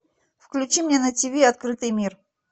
включи мне на тиви открытый мир